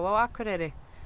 á Akureyri